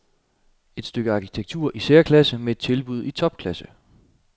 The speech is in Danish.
Et stykke arkitektur i særklasse med et tilbud i topklasse.